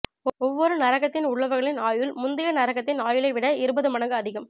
ஒவ்வொரு நரகத்தின் உள்ளவர்களின் ஆயுள் முந்தைய நரகத்தின் ஆயுளை விட இருபது மடங்கு அதிகம்